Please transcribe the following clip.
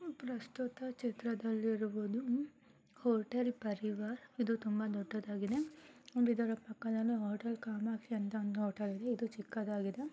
ಪ್ರಸ್ತುತ ಚಿತ್ರದಲ್ಲಿ ಇರುವುದು ಹೋಟೆಲ್ ಪರಿವಾರ ಇದು ತುಂಬಾ ದೊಡ್ಡದಾಗಿದೆ ಇದರ ಪಕ್ಕದಲ್ಲಿ ಹೋಟೆಲ್ ಕಾಮಾಕ್ಷಿ ಅಂತ ಹೋಟೆಲ್ ಇದೆ ಇದು ಚಿಕ್ಕದಾಗಿದೆ.